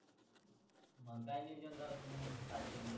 मंग काय नियोजन करायच मंग खायच म्हणजे